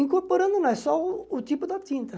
Incorporando não, é só o tipo da tinta.